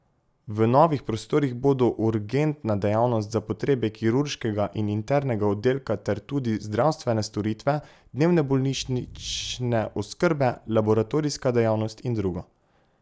V novih prostorih bodo urgentna dejavnost za potrebe kirurškega in internega oddelka ter tudi zdravstvene storitve dnevne bolnišnične oskrbe, laboratorijska dejavnost in drugo.